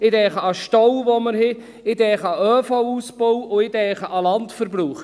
Ich denke an die Staus, die wir haben, ich denke an den ÖV-Ausbau und an den Landverbrauch.